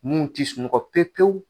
Mun t'i sunɔgɔ pepewu.